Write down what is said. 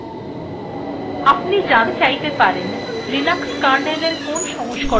আপনি জানতে চাইতে পারেন linux kernel এর কোন সংস্করণ আপনি চালাচ্ছেন